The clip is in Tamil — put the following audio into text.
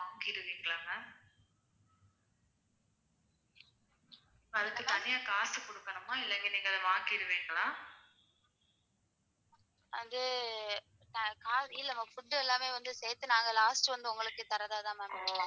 இல்ல ma'am food எல்லாமே வந்து சேர்த்து நாங்க last வந்து உங்களுக்கு தர்றதா தான் ma'am இருக்கோம்.